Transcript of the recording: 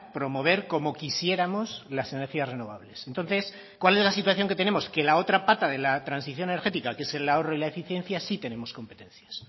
promover como quisiéramos las energías renovables entonces cuál es la situación que tenemos que la otra pata de la transición energética que es el ahorro y la eficiencia sí tenemos competencias